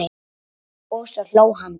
Og svo hló hann dátt.